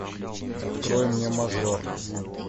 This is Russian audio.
открой мне мажор